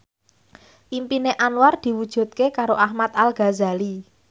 impine Anwar diwujudke karo Ahmad Al Ghazali